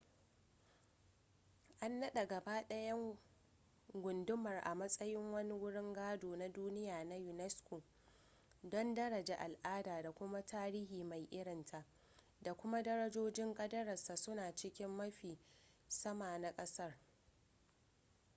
an naɗa gaba ɗayan gundumar a matsayin wani wurin gado na duniya na unesco don darajar al'ada da kuma tarihi mai irinta da kuma darajojin kadararsa suna cikin mafi sama na ƙasar